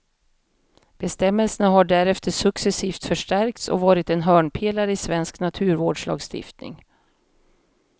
Bestämmelserna har därefter successivt förstärkts och varit en hörnpelare i svensk naturvårdslagstiftning.